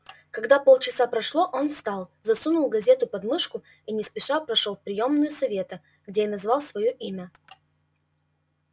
когда полчаса прошло он встал засунул газету подмышку и не спеша прошёл в приёмную совета где и назвал своё имя